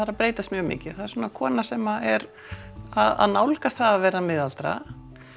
er að breytast mjög mikið það er kona sem er að nálgast það að vera miðaldra